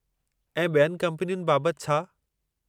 ऐं ॿियनि कम्पनियुनि बाबतु छा?